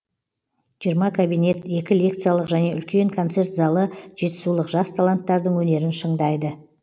жиырма кабинет екі лекциялық және үлкен концерт залы жетісулық жас таланттардың өнерін шыңдайды